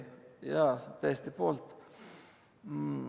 Jaa, täiesti poolt.